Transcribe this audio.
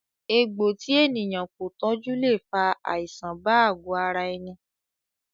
Egbò tí ènìyàn kò tọjú le fa àìsàn bá àgo ara ẹni